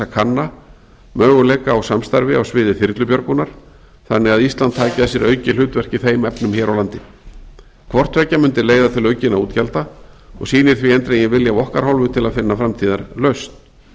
kanna möguleika á samstarfi á sviði þyrlubjörgunar þannig að ísland taki að sér aukið hlutverk í þeim efnum hér á landi hvort tveggja mundi leiða til aukinna útgjalda og sýnir því eindreginn vilja af okkar hálfu til að finna framtíðarlausn